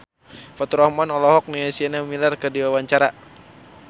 Faturrahman olohok ningali Sienna Miller keur diwawancara